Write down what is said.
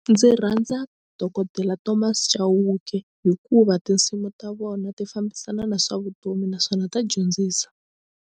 Ndzi rhandza Dokodela Thomas Chauke hikuva tinsimu ta vona ti fambisana na swa vutomi naswona ta dyondzisa.